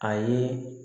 A ye